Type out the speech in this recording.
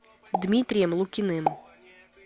дмитрием лукиным